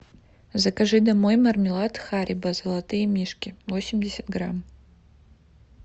закажи домой мармелад харибо золотые мишки восемьдесят грамм